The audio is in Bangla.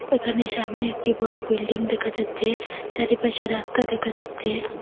এখানে সামনে একটি বড় বিল্ডিং দেখা যাচ্ছে চারিপাশে রাস্তা দেখা যাচ্ছে।